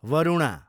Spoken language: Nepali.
वरुणा